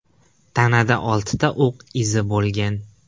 Tanada oltita o‘q izi bo‘lgan.